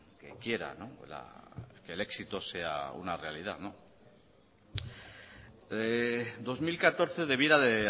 que quiera que el éxito sea una realidad dos mil catorce debiera de